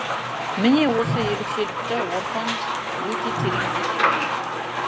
міне осы ерекшелікті орхан өте терең зерделеген